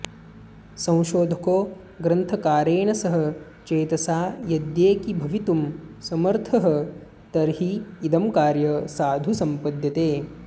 संशोधको ग्रन्थकारेण सह चेतसा यद्येकीभवितुं समर्थस्तर्हीदं कार्य साधु सम्पद्यते